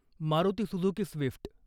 Maruti Suzuki Swift.